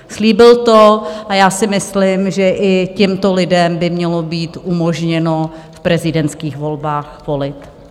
Slíbil to a já si myslím, že i těmto lidem by mělo být umožněno v prezidentských volbách volit.